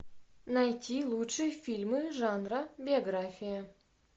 найти лучшие фильмы жанра биография